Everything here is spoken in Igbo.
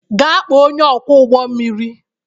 Gaa kpọọ onye ọkwọ ụgbọ mmiri